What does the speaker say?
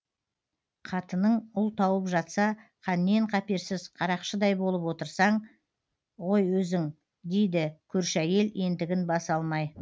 қатының ұл тауып жатса қаннен қаперсіз қарақшыдай болып отырсың ғой өзің дейді көрші әйел ентігін баса алмай